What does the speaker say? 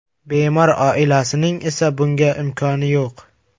Bemor oilasining esa bunga imkoni yo‘q.